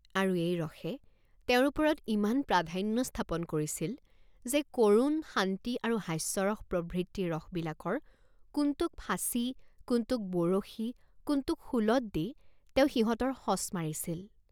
আৰু এই ৰসে তেওঁৰ ওপৰত ইমান প্ৰাধ্যান্য স্থাপন কৰিছিল যে কৰুণ, শান্তি আৰু হাস্যৰস প্ৰভৃতি ৰসবিলাকৰ কোনটোক ফাঁচী, কোনটোক বৰশী, কোনটোক শূলত দি তেওঁ সিহঁতৰ সঁচ মাৰিছিল।